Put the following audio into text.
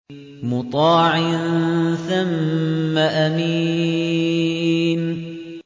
مُّطَاعٍ ثَمَّ أَمِينٍ